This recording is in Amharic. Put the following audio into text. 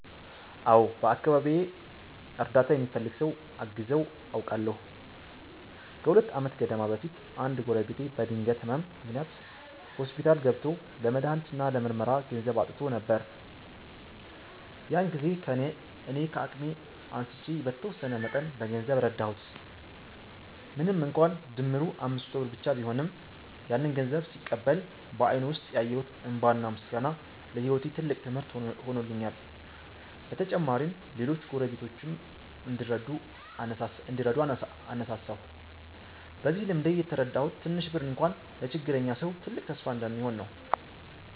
አዎ፣ በአካባቢዬ እርዳታ የሚፈልግ ሰው አግዘው አውቃለሁ። ከሁለት ዓመት ገደማ በፊት አንድ ጎረቤቴ በድንገት ህመም ምክንያት ሆስፒታል ገብቶ ለመድሃኒት እና ለምርመራ ገንዘብ አጥቶ ነበር። ያን ጊዜ እኔ ከአቅሜ አንስቼ በተወሰነ መጠን በገንዘብ ረዳሁት። ምንም እንኳን ድምሩ 500 ብር ብቻ ቢሆንም፣ ያንን ገንዘብ ሲቀበል በአይኑ ውስጥ ያየሁት እንባና ምስጋና ለህይወቴ ትልቅ ትምህርት ሆኖልኛል። በተጨማሪም ሌሎች ጎረቤቶችም እንዲረዱ አነሳሳሁ። በዚህ ልምዴ የተረዳሁት ትንሽ ብር እንኳ ለችግረኛ ሰው ትልቅ ተስፋ እንደሚሆን ነው።